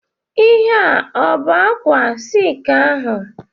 Ihe a ọ bụ ákwà silki ahụ?